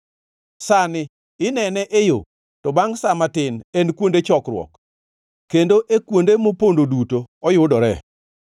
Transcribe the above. sani onene e yo, to bangʼ sa matin en kuonde chokruok, kendo e kuonde mopondo duto oyudore.